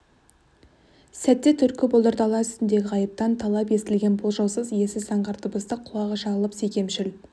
сәтте түлкі бұлдыр дала үстінде ғайыптан талып естілген болжаусыз иесіз заңғар дыбысты құлағы шалып секемшіл